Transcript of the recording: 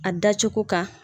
A da cogo kan.